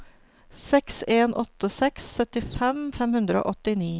seks en åtte seks syttifem fem hundre og åttini